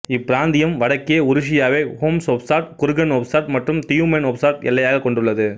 இப்பிராந்தியம் வடக்கே உருசியாவை Omsk oblast Kurgan oblast மற்றும் தியுமென் ஒப்லாஸ்ட் எல்லையாக கொண்டுள்ளது